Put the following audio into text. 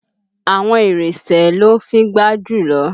Àwọn Ìrèsé ló ń fíngbá jùlọ